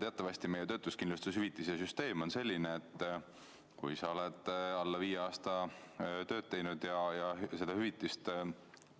Teatavasti meie töötuskindlustushüvitise süsteem on selline, et kui sa oled alla viie aasta tööd teinud ja seda